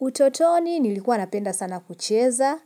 Utotoni nilikuwa napenda sana kucheza,